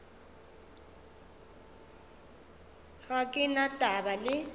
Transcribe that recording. ga ke na taba le